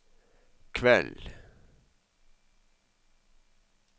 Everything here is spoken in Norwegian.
kveld